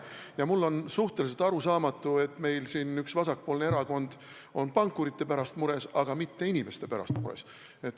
Ja mulle on suhteliselt arusaamatu, et üks vasakpoolne erakond on mures pankurite pärast, mitte inimeste pärast.